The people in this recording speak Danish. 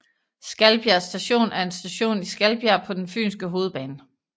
Skalbjerg Station er en station i Skalbjerg på den fynske hovedbane